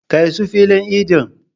Kai su filin idin.